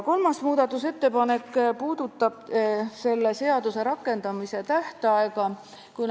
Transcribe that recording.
Kolmas muudatusettepanek puudutab selle seaduse rakendamise tähtaega.